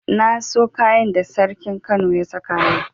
Na so kayan da sarkin kano ya saka yau.